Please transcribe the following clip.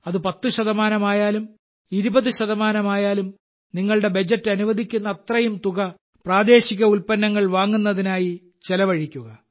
അത് 10 ശതമാനമായാലും 20 ശതമാനമായാലും നിങ്ങളുടെ ബജറ്റ് അനുവദിക്കുന്നത്രയും തുക പ്രാദേശിക ഉല്പ്പന്നങ്ങൾ വാങ്ങുന്നതിനായി ചെലവഴിക്കുക